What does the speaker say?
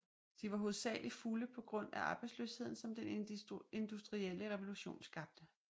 De var hovedsagelig fulde på grund af arbejdsløsheden som den industrielle revolution skabte